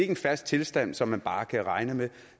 en fast tilstand som man bare kan regne med